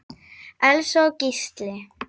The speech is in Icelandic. Elsa og Gísli.